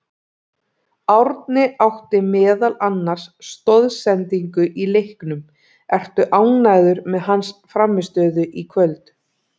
Árni átti meðal annars stoðsendingu í leiknum, ertu ánægður með hans frammistöðu í kvöld?